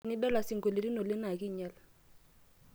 tenidala isingolioni oleng' naa ekiinyal